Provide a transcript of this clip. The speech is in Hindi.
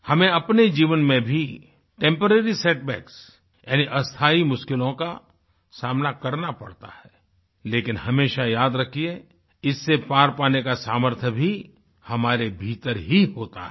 हमें अपने जीवन में भी टेम्पोरेरी सेट बैक्स यानी अस्थाई मुश्किलों का सामना करना पड़ता है लेकिन हमेशा याद रखिए इससे पार पाने का सामर्थ्य भी हमारे भीतर ही होता है